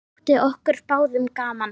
Það þótti okkur báðum gaman.